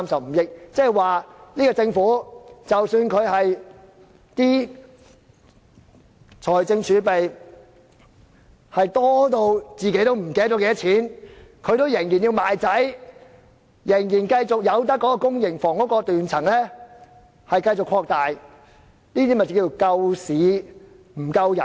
換言之，即使政府的財政儲備龐大得連司長也記不起多少，他仍然要賣掉兒子，繼續讓公營房屋的斷層擴大，即所謂"救市不救人"。